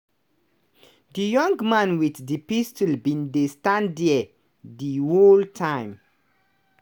di young man wit di pistol bin dey stand dia di whole time.